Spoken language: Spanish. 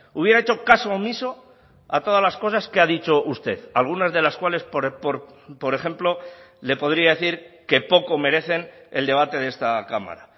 hubiera hecho caso omiso a todas las cosas que ha dicho usted algunas de las cuales por ejemplo le podría decir que poco merecen el debate de esta cámara